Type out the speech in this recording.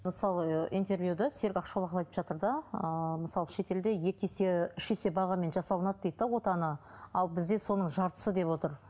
мысалы ыыы интервьюда айтып жатыр да ыыы мысалы шетелде екі есе үш есе бағамен жасалынады дейді де отаны ал бізде соның жартысы деп отыр